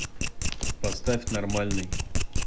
поставь нормальный